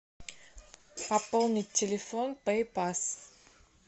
пополнить телефон пэй пасс